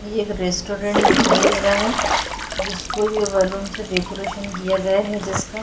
ये एक रेस्टोरेंट दिखाई दे रहा है जिसको ये बैलून से डेकोरेशन किया गया है जिसका--